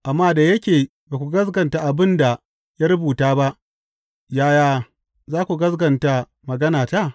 Amma da yake ba ku gaskata abin da ya rubuta ba, yaya za ku gaskata maganata?